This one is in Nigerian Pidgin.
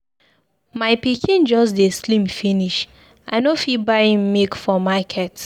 My pikin just dey slim finish. I no fit buy im milk for market.